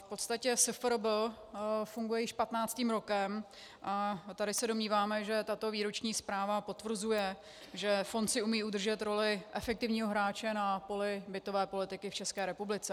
V podstatě SFRB funguje již 15. rokem a tady se domníváme, že tato výroční zpráva potvrzuje, že fond si umí udržet roli efektivního hráče na poli bytové politiky v České republice.